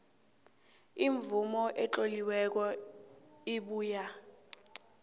imvumo etloliweko ebuya